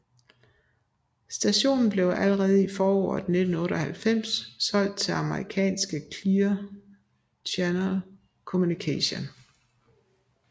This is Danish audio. Stationen blev allerede i foråret 1998 solgt til amerikanske Clear Channel Communications